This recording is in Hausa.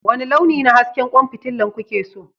Wani launi na hasken kwan fitila kuke so?